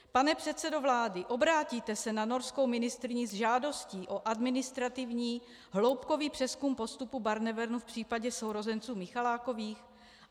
Pan předsedo vlády, obrátíte se na norskou ministryni s žádostí o administrativní hloubkový přezkum postupu Barnevernu v případě sourozenců Michalákových?